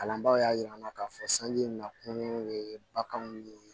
Kalanbaa y'a jira an na k'a fɔ sanji na kunun ye baganw ye